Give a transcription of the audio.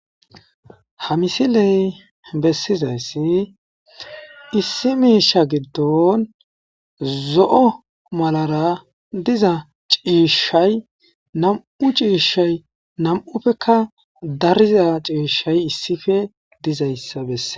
Ha misiley bessizayssi issi miisha giddon zo'o malara diza ciishshay nam'u ciishay nam'uppekka dariza ciishay issife dizayssa besse.